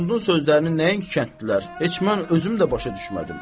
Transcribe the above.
Axundun sözlərini nəinki kəndlilər, heç mən özüm də başa düşmədim.